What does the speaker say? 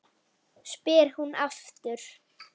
spyr hún aftur.